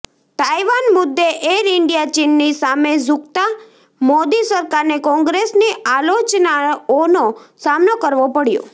Taiwan મુદ્દે Air India ચીનની સામે ઝૂકતા મોદી સરકારને કોંગ્રેસની આલોચનાઓનો સામનો કરવો પડ્યો